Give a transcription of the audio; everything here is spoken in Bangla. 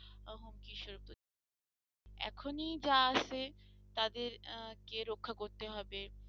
এখনই যা আসে তাদেরকে রক্ষা করতে হবে